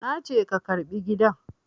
Na ce ka karɓi gidan!